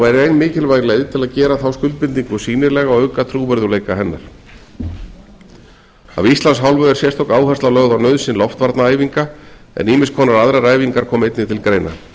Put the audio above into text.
og er ein mikilvæg leið til að gera þá skuldbindingu sýnilega og auka trúverðugleika hennar af íslands hálfu er sérstök áhersla lögð á nauðsyn loftvarnaæfinga en ýmiskonar aðrar æfingar koma einnig til greina